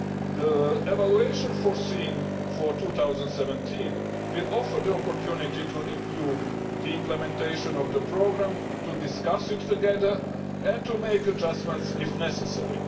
The evaluation scheduled for 2017 will offer the opportunity to review the implementation of the programme, to discuss it together and to make adjustments if necessary.